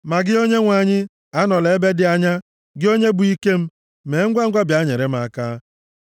Ma gị, Onyenwe anyị, anọla m ebe dị anya; gị Onye bụ ike m, mee ngwangwa bịa nyere m aka.